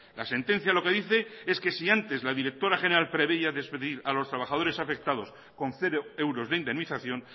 la sentencia lo que dice es que si antes la directora general preveía despedir a los trabajadores afectados con cero euros de indemnización